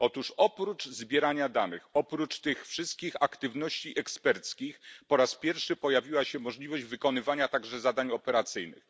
Otóż oprócz zbierania danych, oprócz tych wszystkich aktywności eksperckich po raz pierwszy pojawiła się możliwość wykonywania także zadań operacyjnych.